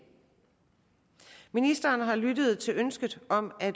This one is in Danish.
ministeren har lyttet til ønsket om at